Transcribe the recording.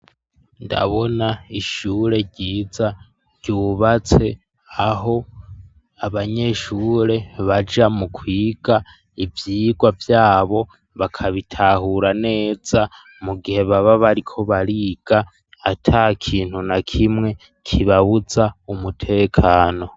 Ndabona ishure ryiza ryubatse aho abanyeshure baja mu kwiga ivyigwa vyabo bakabitahura neza, mu gihe baba bariko bariga ata kintu na kimwe kibabuza umutekano.